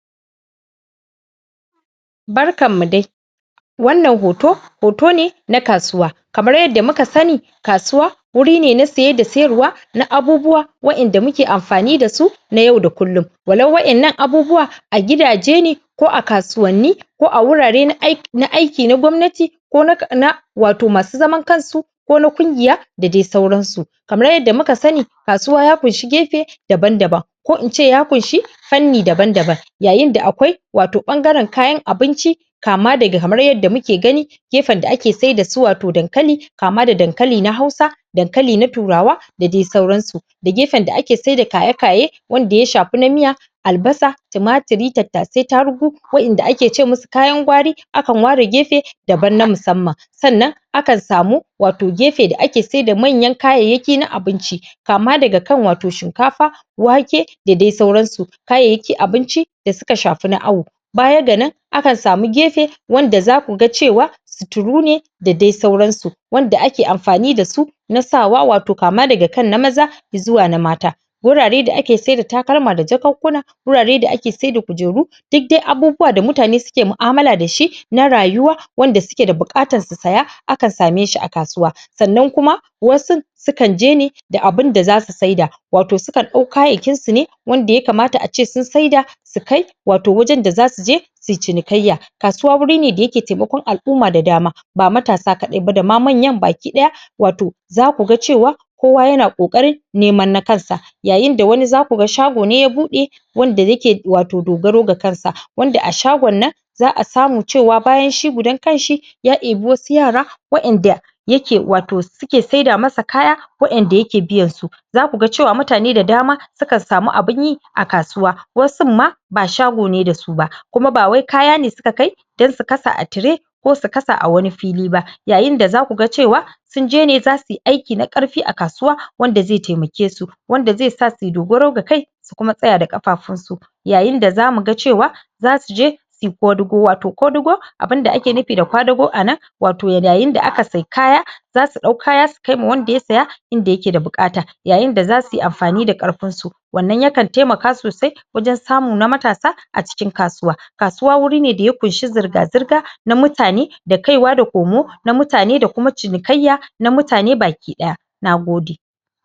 barkan mu dai wannan hoto hoto ne na kasuwa kamar yadda muka sani kasuwa wuri ne na saye da syarwa na abubuwa wa ƴanda muke anfani dasu na yau da kullun walau waƴannan abubuwa a gida je ne ko a kasuwanni ko a wura re na ai na aiki na gwamnati ko na ]?] na wato masu zaman kansu ka na ƙungiya da dai sauran su kamar yadda muka sani kasuw ya ƙunshi gefe daban daban ku ince ya ƙunshi fannindaban daban yayin da akwai wato ɓangaren kayan abinci kam daga kamar yadda muke gani gefen da ake sai dasu wato dankali kama da dankali na hausa dankali na turawa da dai sauran su da gefen da ake sai da kayekaye wanda ya shafi na miya albasa timatiri tattasai tarugu waƴanda ake ce musu kayan gwari akan ware gefe daban na musamman akan samu wato gefe da ake sai da manyan kayaya ki na abinci kama daga kan wato shinkafa wake da dai sauran su kayayyaki abinci da suka shafi na awo baya ganan akan samu gefe wanda zakuga cewa suturu ne da dai sauran su wanda ake anfani dasu na sawa wato kama daga kan na maza zuwa na mata wurare da ake saida takaima da jakunkuna wurare da ake saida kujeru duk dai abubuwa da mutane suke mu'amala da shi na rayuwa wanda suke da buatan susaya akan same shi a kasuwa sannan kuma wasu sukan jene da abun da zasu saida wato sukan ɗau kayakin sune wanda ya kamata ace sun saida su kai wato wajan da zasu je sui cinikayya kasuwa wurine da yake taimakon alumma gaba ɗaya ba matasa kaɗai ba dama manyan ba ki ɗaya wato zaku ga cewa kowa yana ƙoƙari neman na kansa yayinda wani zaku ga shago ne ya buɗe wanda yake wato dogaro ga kansa wanda a shagon nan za'a samu cewa bayan shi gudan kanshi ya ebii wasu yara waƴanda yake wato suke saida masa kaya waƴanda yake biyan su zakuga cewa mutane da dama sukan sami abunyi akasuwa wasumma ba shago ne da suba kuma ba wai kaya ne suka kai dan su kasa a tire ko su kasa awani fili ba yayin da zaku ga cewa sunjene zasuyi aiki na ƙarfi a kasuwa wanda zai taimake su wanda zai sa suyi dogaro ga kai su kuma tsaya da ƙafafun su yayinda zamu ga cewa zasu je suyi ƙodugo wato ƙodugo abin da ake nufi da kwadugo anan wato da yayin da aka sai kaya zasu dau kaya suka wa wanda ya saya inda yake da buƙata yayinda zasuyi anfani da ƙarfin su wannan yakan taimaka sosai wajan samu na matasa acikin kasuwa kasuwa wuri ne daya ƙunshi zurga zurga na mutane da kaiwa da komo na mutane da kuma cinikayya na mutane baki ɗaya Nagode.